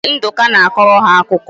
Ee, Nduka na-akọrọ ha akụkọ